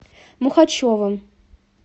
мухачевым